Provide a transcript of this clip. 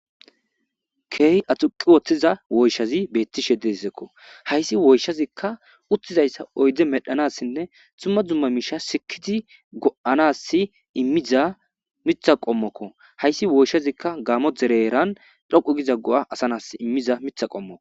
Kehi aduqiwutida woyishati betishe dee's ko hayissi woyishazika utidayisa oyide medhanasinne duma duma mishanisi imiza mitha qomoko hayisi woyishazika gamo dere dhoqu giza go, a imiza mitha qomoko